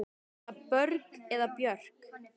Er það Björg eða Björk?